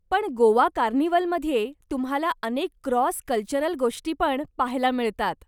पण गोवा कार्निव्हलमध्ये तुम्हाला अनेक क्रॉस कल्चरल गोष्टी पण पाहायला मिळतात.